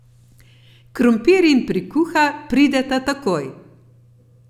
Krompir in prikuha prideta takoj!